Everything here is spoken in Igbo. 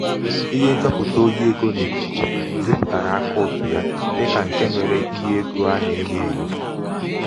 ihe nchọpụ̀ta nchọpụ̀ta ohi ego n’ikùkù zipùtàrà àkaụ̀ǹtụ ya dịkà ṅ̀ke mere ihe egō a nà-enyo ènyò